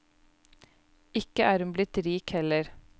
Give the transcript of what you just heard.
Ikke er hun blitt rik heller.